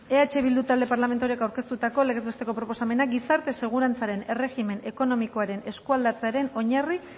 eh bildu talde parlamentarioak aurkeztutako legez besteko proposamena gizarte segurantzaren erregimen ekonomikoaren eskualdatzearen oinarri